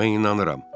Mən inanıram.